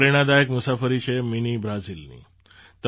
આ પ્રેરણાદાયક મુસાફરી છે મિની બ્રાઝિલની